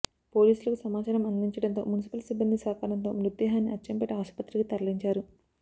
పోలీసులకు సమాచారం అందించడంతో మున్సిపల్ సిబ్బంది సహకారంతో మృతదేహాన్ని అచ్చంపేట ఆస్పత్రికి తరలించారు